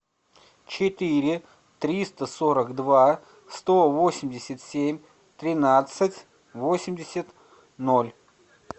четыре триста сорок два сто восемьдесят семь тринадцать восемьдесят ноль